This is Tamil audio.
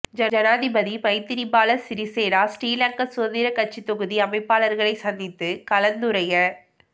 ஜனாதிபதி மைத்திரிபால சிறிசேன ஸ்ரீலங்கா சுதந்திரக் கட்சியின் தொகுதி அமைப்பாளர்களை சந்தித்து கலந்துரைய